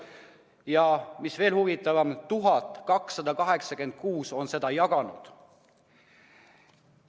Ja mis veel huvitavam: 1286 on seda jaganud.